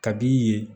Kab'i ye